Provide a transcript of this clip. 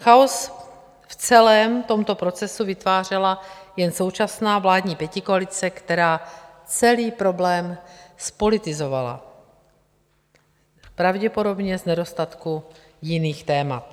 Chaos v celém tomto procesu vytvářela jen současná vládní pětikoalice, která celý problém zpolitizovala, pravděpodobně z nedostatku jiných témat.